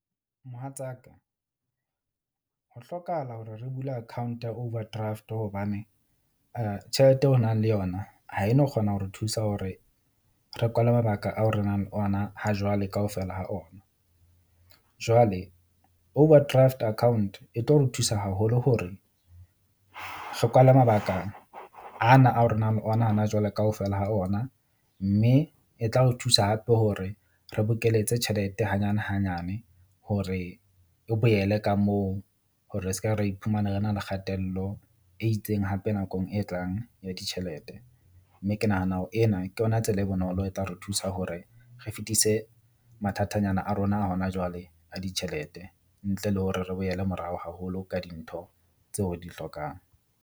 Mohatsaka ho hlokahala hore re bule account ya overdraft hobane tjhelete eo o nang le yona ha e no kgona hore thusa hore re kwalwe mabaka ao re nang le ona ha jwale kaofela ha ona. Jwale overdraft account e tlo re thusa haholo hore re kwale mabaka ana a hore nang ona hana jwale kaofela ho ona. Mme e tla o thusa hape hore, re bokeletsa tjhelete hanyane hanyane hore e boele ka moo hore re ska re iphumane re na le kgatello e itseng hape nakong e tlang ya ditjhelete. Mme ke nahana hore ena ke yona tsela e bonolo e tla re thusa hore re fetise mathatanyana a rona a hona jwale a ditjhelete, ntle le hore re boele morao haholo ka dintho tseo re di hlokang.